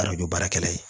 Arajo baarakɛla ye